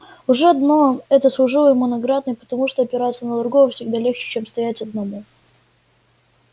уже одно это служило ему наградой потому что опираться на другого всегда легче чем стоять одному